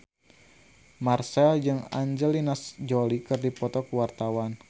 Marchell jeung Angelina Jolie keur dipoto ku wartawan